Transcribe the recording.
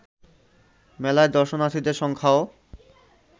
মেলায় দর্শনার্থীদের সংখ্যাও